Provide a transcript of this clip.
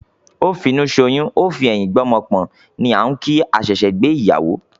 "Ó fi inú soyún, ó fi ẹ̀yin gbé ọmọ pọ̀n" ni á ń kìí àṣẹ ṣe gbé ìyàwó.